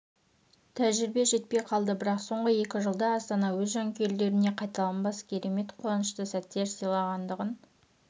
тәжірибе жетпей қалды бірақ соңғы екі жылда астана өз жанкүйерлеріне қайталанбас керемет қуанышты сәттер сыйлағандығын